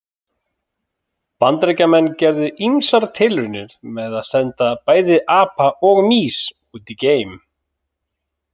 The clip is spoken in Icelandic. Bandaríkjamenn gerðu ýmsar tilraunir með að senda bæði apa og mýs út í geim.